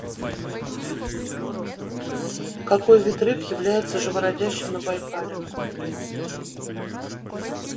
какой вид рыб является живородящим на байкале